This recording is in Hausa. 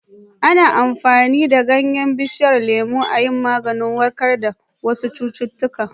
Ana iya amfani da ganyen bishiyar lemu a yi maganin warkar da wasu cututtuka.